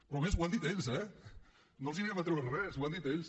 però a més ho han dit ells eh no els anirem a treure res ho han dit ells